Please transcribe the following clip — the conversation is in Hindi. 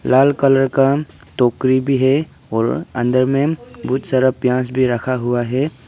लाल कलर का टोकरी भी है और अंदर में बहुत सारा प्याज भी रखा हुआ है।